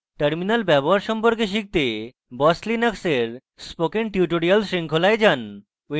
terminal ব্যবহার সম্পর্কে শিখতে boss linux এর spoken tutorial শৃঙ্খলায় যান